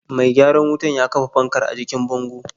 Mai gyaran wutar ya kafa fankar a jikin bango.